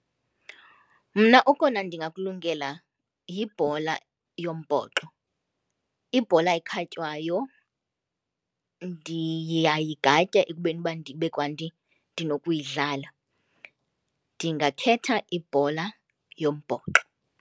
Mna okona ndingakulungela yibhola yombhoxo. Ibhola ekhatywayo ndiyayigatya ekubeni uba ndibe kanti ndinokuyidlala. Ndingakhetha ibhola yombhoxo.